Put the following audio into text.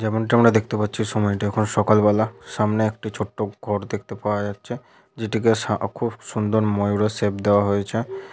যেমনটা আমরা দেখতে পাচ্ছি সময়টা এখন সকালবেলা। সামনে একটি ছোট্ট ঘর দেখতে পাওয়া যাচ্ছে যেটিকে সা খুব সুন্দর ময়ূরের সেপ দেওয়া হয়েছে ।